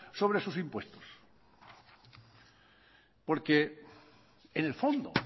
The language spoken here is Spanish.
sobre sus impuestos porque en el fondo